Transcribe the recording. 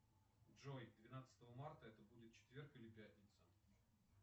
джой двенадцатого марта это будет четверг или пятница